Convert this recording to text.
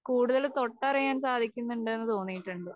കൂടുതൽ തൊട്ടറിയാൻ സാധിക്കുന്നുണ്ടെന്ന് തോന്നിയിട്ടുണ്ട്.